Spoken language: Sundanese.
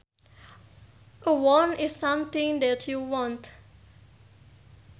A want is something that you want